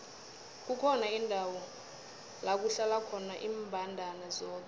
kukhona indawo lakuhlala khona imbandana zodwa